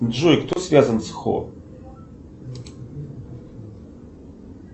джой кто связан с хо